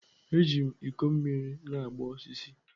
Eji m ikọ mmiri na-agba osisi.